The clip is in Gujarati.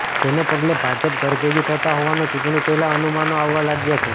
જેને પગલે ભાજપ ઘરભેગી થતા હોવાના ચૂંટણી પહેલાં અનુમાનો અાવવા લાગ્યા છે